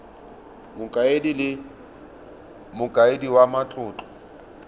mokaedi le mokaedi wa matlotlo